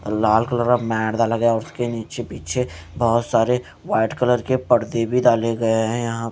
लाल colour का mat दा लगा उसके नीचे पीछे बहोत सारे व्हाइट कलर के पर्दे भी डाले गए हैं यहां--